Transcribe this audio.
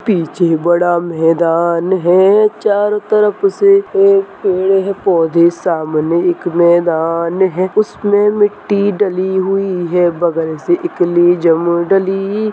पीछे बड़ा मैदान है चारों तरफ से एक पेड़ है पौधे सामने एक मैदान है उसमें मिट्टी डली हुई है बगल से एक जमो डली।